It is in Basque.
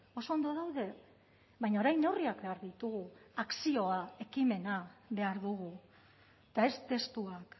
oso ondo daude baina orain neurriak behar ditugu akzioa ekimena behar dugu eta ez testuak